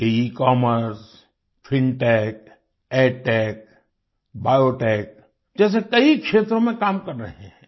ये ecommerce fintech edtech biotech जैसे कई क्षेत्रों में काम कर रहे हैं